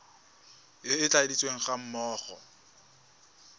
e e tladitsweng ga mmogo